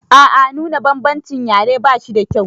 A a nuna bambancin yare ba shida kyau.